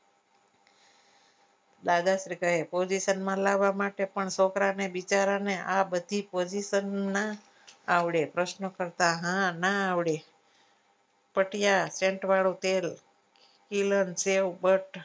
દાદાશ્રી કહે position માં લાવવા માટે પણ છોકરા બિચારા ને આબધી position ના ના આવડે પ્રશ્ન કરતા હા ના આવડે પટિયા pant વાળું પેર